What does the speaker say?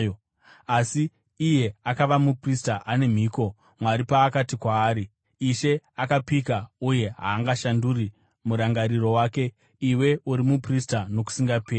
asi iye akava muprista ane mhiko, Mwari paakati kwaari: “Ishe akapika uye haangashanduri murangariro wake: ‘Iwe uri muprista nokusingaperi.’ ”